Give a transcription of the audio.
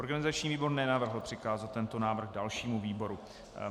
Organizační výbor nenavrhl přikázat tento návrh dalšímu výboru.